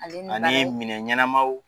Ale ni minɛ ɲɛnɛmaw